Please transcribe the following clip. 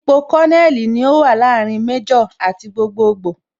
Ipò Kononeli ní ó wà láàrin Méjò àti gbogboogbo